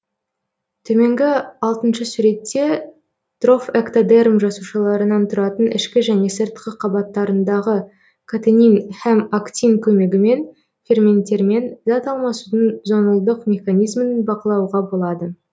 төменгі алтыншы суретте трофэктодерм жасушаларынан тұратын ішкі және сыртқы қабаттарындағы катенин һәм актин көмегімен ферменттермен зат алмасудың зонулдық механизмін бақылауға болады